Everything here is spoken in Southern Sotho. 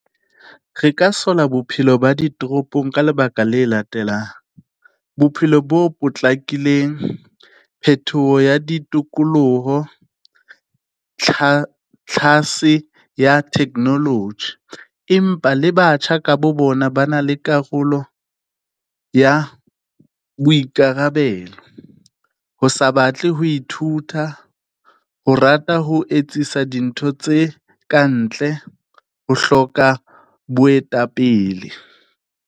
Re ka sola bophelo ba ditoropong, ka lebaka la latelang. Bophelo bo potlakileng, phetoho ya ditokoloho, tlhase ya technology. Empa le batjha ka bo bona ba na le karolo ya boikarabelo, ho sa ba tle ho ithuta, ho rata ho etsisa dintho tse kantle, ho hloka boetapele.